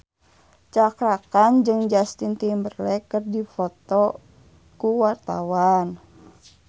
Cakra Khan jeung Justin Timberlake keur dipoto ku wartawan